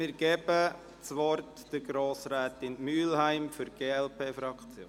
Ich gebe das Wort Grossrätin Mühlheim für die glp-Fraktion.